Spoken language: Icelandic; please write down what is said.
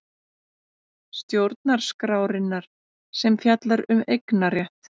Stjórnarskrárinnar sem fjallar um eignarétt.